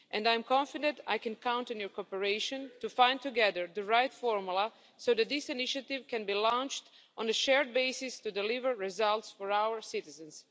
I am confident that I can count on your cooperation to find together the right formula so that this initiative can be launched on a shared basis to deliver results for our citizens.